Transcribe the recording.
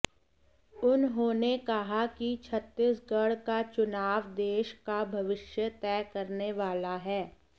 उन्होंने कहा कि छत्तीसगढ़ का चुनाव देश का भविष्य तय करने वाला है